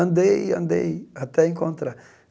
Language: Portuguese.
Andei, andei, até encontrar.